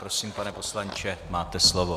Prosím pane poslanče, máte slovo.